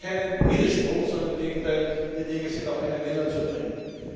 Und da sehe ich keinen Widerspruch, sondern im Gegenteil, die Dinge sind auf einen Nenner zu bringen.